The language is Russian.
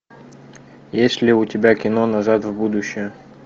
есть ли у тебя кино назад в будущее